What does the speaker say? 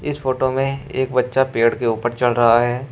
इस फोटो में एक बच्चा पेड़ के ऊपर चढ़ रहा है।